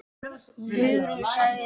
Hugrún sagði